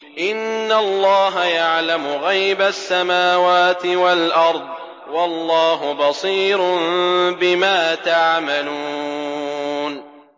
إِنَّ اللَّهَ يَعْلَمُ غَيْبَ السَّمَاوَاتِ وَالْأَرْضِ ۚ وَاللَّهُ بَصِيرٌ بِمَا تَعْمَلُونَ